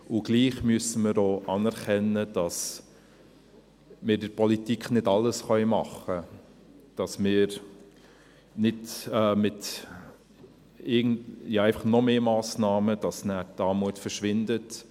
– Und trotzdem müssen wir auch anerkennen, dass wir in der Politik nicht alles tun können, damit mit noch mehr Massnahmen die Armut nicht einfach verschwindet.